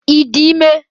Ị dị ime?